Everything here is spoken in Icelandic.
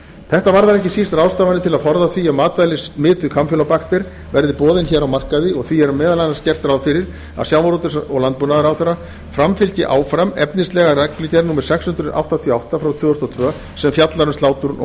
þetta varðar ekki síst ráðstafanir til að forða því að matvæli smituð kampýlóbakter verði boðin hér á markaði og því er meðal annars gert ráð fyrir að sjávarútvegs og landbúnaðarráðherra framfylgi áfram efnislega reglugerð númer sex hundruð áttatíu og átta tvö þúsund og tvö sem fjallar um slátrun og